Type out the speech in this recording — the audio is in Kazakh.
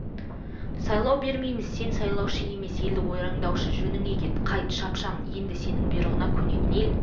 сайлау бермейміз сен сайлаушы емес елді ойрандаушы жөніңе кет қайт шапшаң енді сенің бұйрығыңа көнетін ел